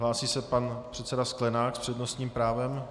Hlásí se pan předseda Sklenák s přednostním právem.